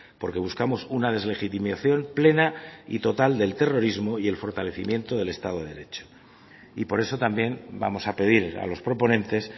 porque buscamos una deslegitimación plena y total del terrorismo y el fortalecimiento del estado de derecho y por eso también vamos a pedir a los proponentes